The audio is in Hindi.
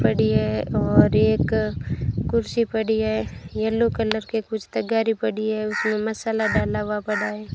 पड़ी है और एक कुर्सी पड़ी है येलो कलर के कुछ तगारी पड़ी है उसमें मसाला डाला हुआ पड़ा है।